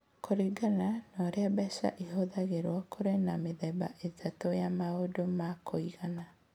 Kũringana na ũrĩa mbeca ihũthagĩrũo, kũrĩ na mĩthemba ĩtatũ ya maũndũ ma kũigana.